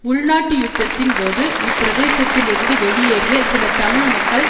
உள்நாட்டு யுத்தத்தின் போது இப்பிரதேசத்தில் இருந்து வெளியேறிய சில தமிழ் மக்கள்